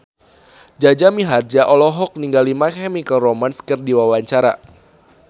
Jaja Mihardja olohok ningali My Chemical Romance keur diwawancara